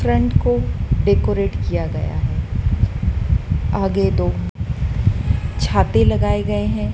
Front को decorate किया गया है आगे दो छाते लगाए गए हैं।